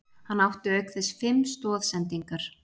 Hann átti auk þess fimm stoðsendingar